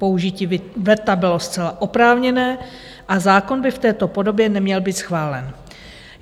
Použití veta bylo zcela oprávněné a zákon by v této podobě neměl být schválen.